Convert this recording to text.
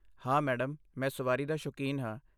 ਹਾਂ, ਮੈਡਮ, ਮੈਂ ਸਵਾਰੀ ਦਾ ਸ਼ੌਕੀਨ ਹਾਂ।